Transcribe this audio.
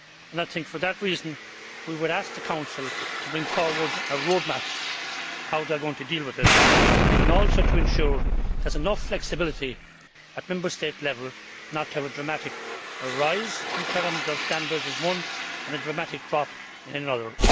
I think for that reason we would ask the Council to bring forward a roadmap for how they are going to deal with it and also to ensure there is enough flexibility at Member State level not to have a dramatic rise in terms of standards in one and a dramatic drop in another.